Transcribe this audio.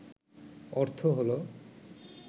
অর্থ হল